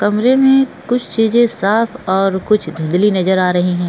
कमरे में कुछ चीजे साफ और कुछ धुंदलि नज़र आ रही है।